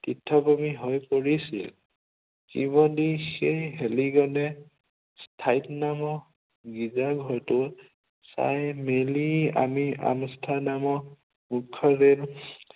তীৰ্থভূমি হৈ পৰিছিল। কিৱনিচে হেলিগেমে স্থায়ীনম গীৰ্জাঘৰটো চাই মেলি আমি আনষ্ট্ৰাডামক উদ্ধৰাল